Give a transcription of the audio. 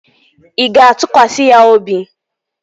Ị ga-atụkwasị ya obi?